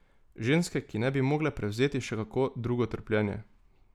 Ženske, ki ne bi mogle prevzeti še kako drugo trpljenje.